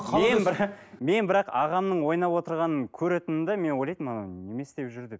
мен мен бірақ ағамның ойнап отырғанын көретінмін де мен ойлайтынмын анау немене істеп жүр деп